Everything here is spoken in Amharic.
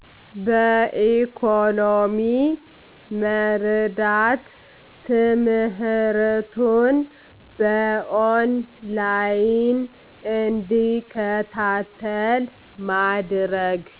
በኢኮኖሚ መርዳት፤ ትምህርቱን በኦን ላይን እንዲከታተል ማድረግ።